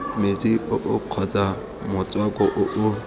metsi oo kgotsa motswako oo